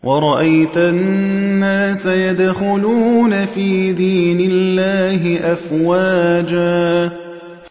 وَرَأَيْتَ النَّاسَ يَدْخُلُونَ فِي دِينِ اللَّهِ أَفْوَاجًا